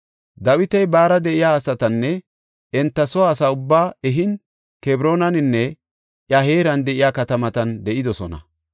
Dawiti baara de7iya asatanne enta soo asa ubbaa ehin, Kebroonaninne iya heeran de7iya katamatan de7idosona.